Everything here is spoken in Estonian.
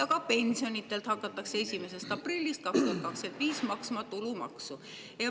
Ka pensionidelt hakatakse 1. aprillist 2025 maksma tulumaksu.